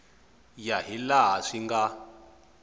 ya hi laha swi nga